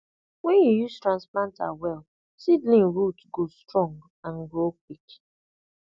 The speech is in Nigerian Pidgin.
when you use transplanter well seedling root go strong and grow quick